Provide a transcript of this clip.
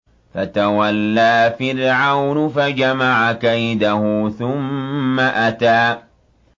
فَتَوَلَّىٰ فِرْعَوْنُ فَجَمَعَ كَيْدَهُ ثُمَّ أَتَىٰ